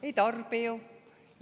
Ei tarbi ju!